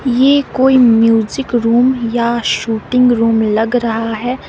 ये कोई music room या शूटिंग रूम लग रहा है।